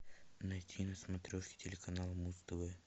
найти на смотрешке телеканал муз тв